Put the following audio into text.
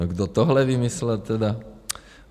No kdo tohle vymyslel tedy?